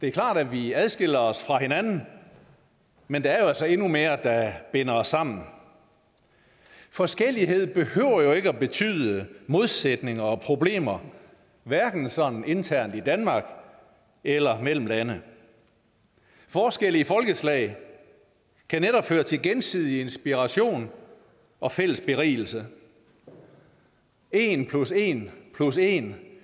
er klart at vi adskiller os fra hinanden men der er jo altså endnu mere der binder os sammen forskellighed behøver jo ikke at betyde modsætninger og problemer hverken sådan internt i danmark eller mellem lande forskelle i folkeslag kan netop føre til gensidig inspiration og fælles berigelse en plus en plus en